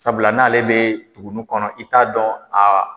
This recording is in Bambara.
Sabula n'ale bɛ tugunnin kɔnɔ i t'a dɔn aa